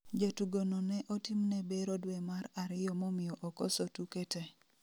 Jatugo no ne otimne bero dwe mar ariyo momiyo okoso tuke te